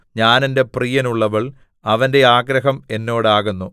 ഞാൻ എന്റെ പ്രിയനുള്ളവൾ അവന്റെ ആഗ്രഹം എന്നോടാകുന്നു